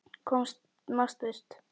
Komast burt.